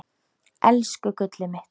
Elsku gullið mitt.